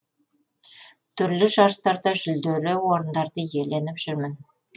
түрлі жарыстарда жүлделі орындарды иеленіп жүрмін